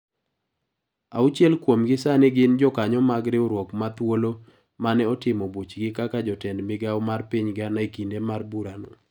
Auchiel kuom gi sani gin jokanyo mag riwruok mathuolo mane otimo buchgi kaka joted migawo mar piny Ghana ekinde mar bura no.